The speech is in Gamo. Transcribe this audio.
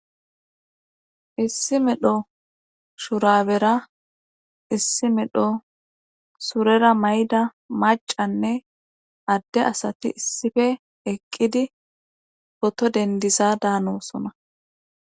issi medho shurabera issi medho surera mayda macanne adde asati issife eqqidi oto dendisa daanosona